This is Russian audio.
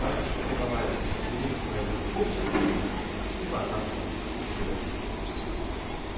так что давай бери своих пупсиков и в охапку и вперёд